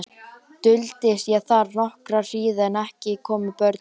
Duldist ég þar nokkra hríð en ekki komu börnin.